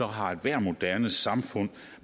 har ethvert moderne samfund